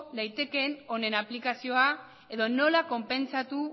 daitekeen honen aplikazioa edo nola konpentsatu